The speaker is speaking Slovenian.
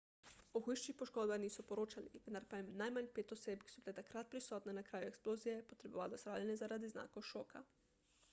o hujših poškodbah niso poročali vendar pa je najmanj pet oseb ki so bile takrat prisotne na kraju eksplozije potrebovalo zdravljenje zaradi znakov šoka